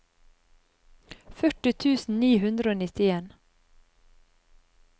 førti tusen ni hundre og nittien